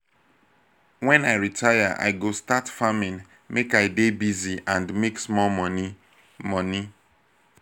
wen i retire i go start farming make i dey busy and make small money. money.